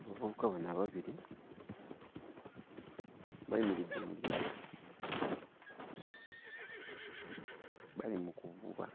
Abavubuka bano ababiri bayimiridde mu lyato, bali mu kuvuba,